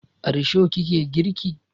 A risho ki ke girki?